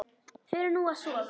Förum nú að sofa.